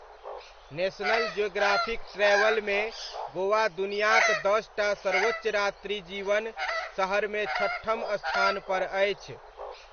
National Geographic ट्रैवलमे गोवा दुनियाक दस टा सर्वोच्च रात्रिजीवन शहरमे छठम स्थानपर अछि।